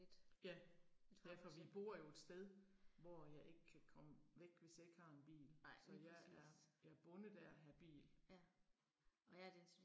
Ja. Ja for vi bor jo et sted, hvor jeg ikke kan komme væk, hvis jeg ikke har en bil. Så jeg er jeg er bundet af at have bil